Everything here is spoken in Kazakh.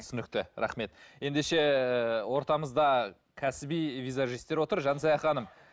түсінікті рахмет ендеше ортамызда кәсіби визажистер отыр жансая ханым